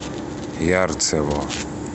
ярцево